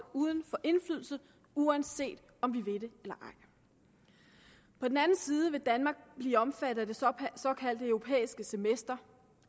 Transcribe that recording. uden for indflydelse uanset om vi vil det eller ej på den anden side vil danmark blive omfattet af det såkaldte europæiske semester